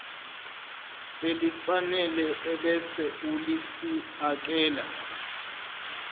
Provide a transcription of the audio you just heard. elifanele ebese ulifiakela